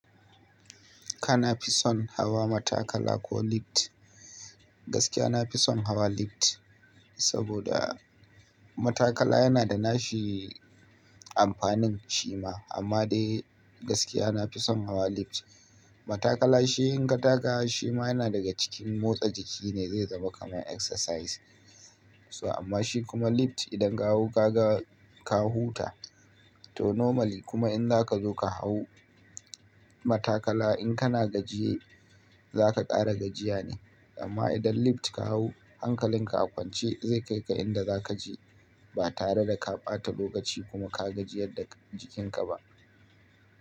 Kana fi son hawa matakala ko lift? Gaskiya na fi son hawa lift, saboda matakala yana da nashi amfanin shi ma, amma dai gaskiya nafi son hawa lift. Matakala shi in ka taka shi ma yana daga cikin motsa jiki ne, zai zama kaman exercise. Amma shi kuma lift idan ka hau ka ga ka huta. Toh normally kuma in zaka zo ka hau matakala in kana gajiye zaka ƙara gajiya ne amma idan lift ka hau hankalin ka a kwance zai kai ka inda za kaje ba tare da ka ɓata lokaci kuma ka gajiyar da jikin ka ba.